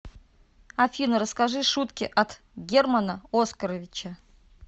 афина расскажи шутки от германа оскаровича